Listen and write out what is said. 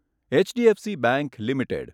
HDFC bank limited